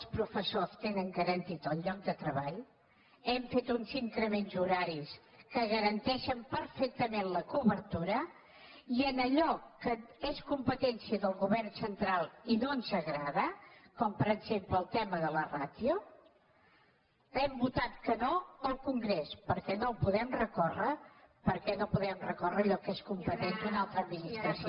els profes·sors tenen garantit el lloc de treball hem fet uns incre·ments horaris que garanteixen perfectament la cober·tura i en allò que és competència del govern central i no ens agrada com per exemple el tema de la ràtio hem votat que no al congrés perquè no podem recór·rer allò que és competent d’una altra administració